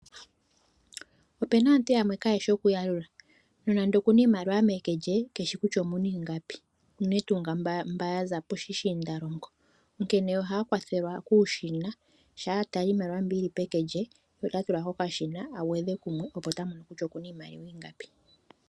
Opena aantu yamwe kaayeshi oku yalula no nando okuna iimaliwa meke lye keshi kutya omuna ingapi unene tuu mba ya za poshishiindalongo, onkene ohaya kwathelwa kuushina shaa atala iimaliwa mbi yili peke lye ye ota tula kokashina agwedhe kumwe opo ta mono kutya okuna iimaliwa ingapi.